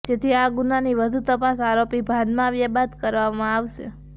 જેથી આ ગુનાની વધુ તપાસ આરોપી ભાનમાં આવ્યા બાદ કરવામાં આવશે